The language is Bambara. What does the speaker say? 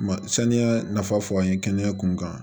Ma saniya nafa fɔ an ye kɛnɛya kunkan